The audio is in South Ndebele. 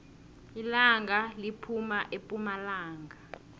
ilanga liphuma epumalanga